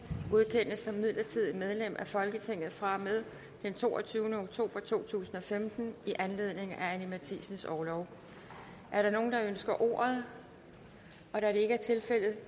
godkendes som midlertidigt medlem af folketinget fra og med den toogtyvende oktober to tusind og femten i anledning af anni matthiesens orlov er der nogen der ønsker ordet da det ikke er tilfældet